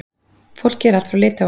Fólkið er allt frá Litháen.